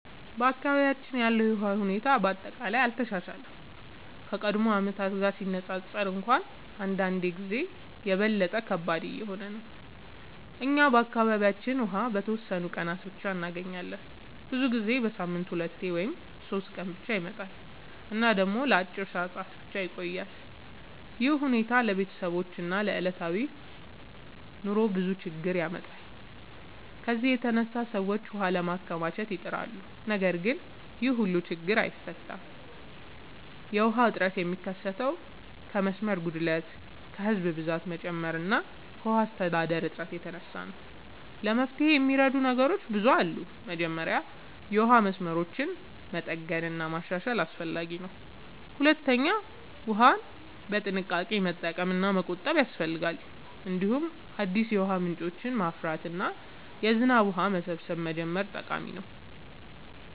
በአካባቢያችን ያለው የውሃ ሁኔታ በአጠቃላይ አልተሻሻለም፤ ከቀድሞ ዓመታት ጋር ሲነፃፀር እንኳን አንዳንድ ጊዜ የበለጠ ከባድ እየሆነ ነው። እኛ በአካባቢያችን ውሃ በተወሰኑ ቀናት ብቻ እንገኛለን፤ ብዙ ጊዜ በሳምንት 2 ወይም 3 ቀን ብቻ ይመጣል እና ደግሞ ለአጭር ሰዓታት ብቻ ይቆያል። ይህ ሁኔታ ለቤተሰቦች እና ለዕለታዊ ኑሮ ብዙ ችግኝ ያመጣል። ከዚህ የተነሳ ሰዎች ውሃ ለማከማቸት ይጥራሉ፣ ነገር ግን ይህም ሁሉን ችግኝ አይፈታም። የውሃ እጥረት የሚከሰተው ከመስመር ጉድለት፣ ከህዝብ ብዛት መጨመር እና ከውሃ አስተዳደር እጥረት የተነሳ ነው። ለመፍትሄ የሚረዱ ነገሮች ብዙ አሉ። መጀመሪያ የውሃ መስመሮችን መጠገን እና ማሻሻል አስፈላጊ ነው። ሁለተኛ ውሃን በጥንቃቄ መጠቀም እና መቆጠብ ያስፈልጋል። እንዲሁም አዲስ የውሃ ምንጮችን ማፍራት እና የዝናብ ውሃ መሰብሰብ መጀመር ጠቃሚ ነው።